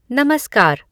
नमस्कार